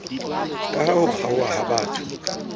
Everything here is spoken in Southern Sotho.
kaha ho kgaoha ha botho